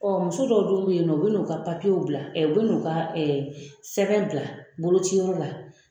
Ɔ muso dɔw dun bɛ yen nɔ u bɛ n'u ka papiyew bila u bɛ n'u ka sɛbɛn bila bolociyɔrɔ la